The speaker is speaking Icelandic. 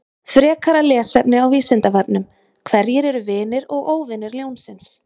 Frekara lesefni á Vísindavefnum: Hverjir eru vinir og óvinir ljónsins?